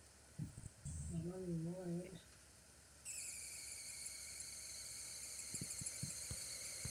ore enkidura oo ndaiki te mukunta ,ndurie kwashenyenolkokoyok o olpaek ashu legumes anaa mboosho peer moyiaritin naabulu